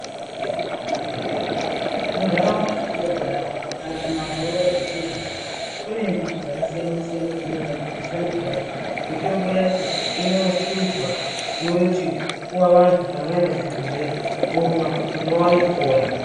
Muntaraunda matinogara kana kana kumandau unono kwetinogara, kune mbiti dzakasiyana-siyana, dzinogadzirisa mitombo. Mitombo yacho inohluzwa yoti...yopuwa vantu kana vaenda kuzvibhedhleya, vomwa, kuti vaone kupona.